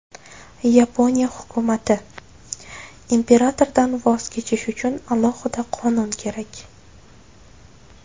Yaponiya hukumati: Imperatordan voz kechish uchun alohida qonun kerak.